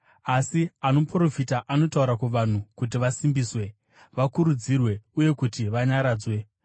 Asi anoprofita anotaura kuvanhu kuti vasimbiswe, vakurudzirwe uye kuti vanyaradzwe.